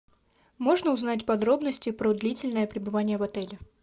можно узнать подробности про длительное пребывание в отеле